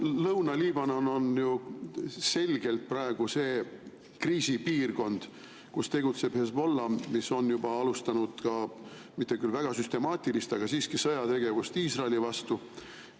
Lõuna-Liibanon on ju selgelt praegu see kriisipiirkond, kus tegutseb Hezbollah, mis on juba alustanud ka – mitte küll väga süstemaatilist – sõjategevust Iisraeli vastu.